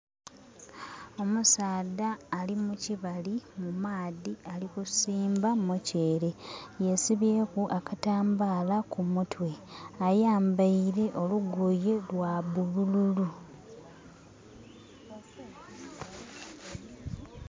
Omusaadha ali mu kibali mu maadhi ali kusimba muceere yesibyeku akatambala ku mutwe ayambaile olugoye lwa bulululu.